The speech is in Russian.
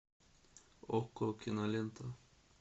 окко кинолента